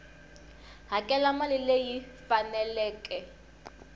hakela mali leyi yi faneleke